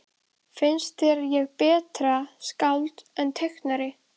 Finnst þér ég betra skáld en teiknari?